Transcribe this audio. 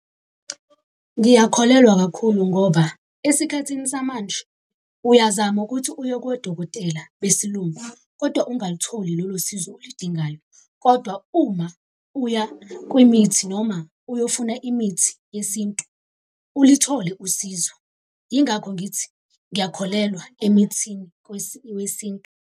Ngiyakholelwa kakhulu ngoba, esikhathini samanje uyazama ukuthi uye kodokotela besilungu, kodwa ungalitholi lolo sizo olidingayo. Kodwa uma uya kwimithi noma uyofuna imithi yesintu, ulithole usizo. Yingakho ngithi ngiyakholelwa emithini wesintu.